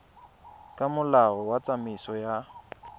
ka molao wa tsamaiso ya